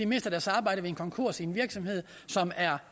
mister deres arbejde ved en konkurs i en virksomhed som er